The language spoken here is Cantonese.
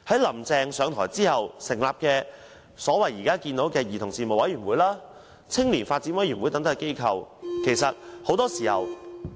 "林鄭"上台後成立了現時所謂的兒童事務委員會和青年發展委員會等機構，但很多時候